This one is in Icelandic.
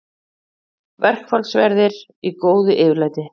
Verkfallsverðir í góðu yfirlæti